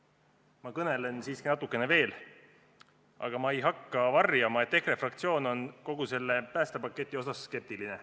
Aga ma kõnelen siiski natuke veel, kuid ei hakka varjama, et EKRE fraktsioon on kogu selle päästepaketi suhtes skeptiline.